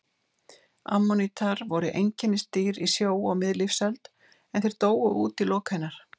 Ammonítar voru einkennisdýr í sjó á miðlífsöld en þeir dóu út í lok hennar.